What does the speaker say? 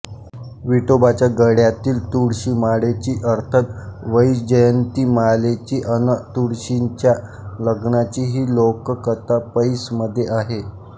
विठोबाच्या गळ्यातील तुळशीमाळेची अर्थात वैजयंतीमालेची अन् तुळशीच्या लग्नाची ही लोककथा पैसमध्ये आहे